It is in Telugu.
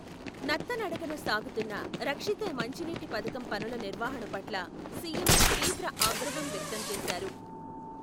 నత్తనడకన సాగుతున్న రక్షిత మంచినీటి పథకం పనుల నిర్వహణ పట్ల సీఎం, తీవ్ర ఆగ్రహం వ్యక్తం చేశారు.